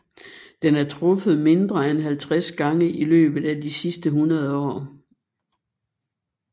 Den er truffet mindre end 50 gange i løbet af de sidste 100 år